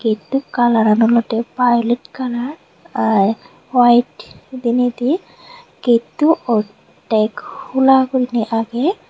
getto kalaran olodey violet kalar ar white dineydi getto oddek hula goriney agey.